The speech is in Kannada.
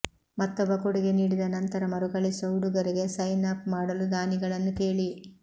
ಮತ್ತೊಬ್ಬ ಕೊಡುಗೆ ನೀಡಿದ ನಂತರ ಮರುಕಳಿಸುವ ಉಡುಗೊರೆಗೆ ಸೈನ್ ಅಪ್ ಮಾಡಲು ದಾನಿಗಳನ್ನು ಕೇಳಿ